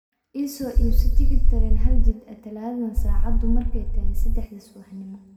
I soo iibso tigidh tareen hal-jid ah Talaadadan saacadu markay tahay saddexda subaxnimo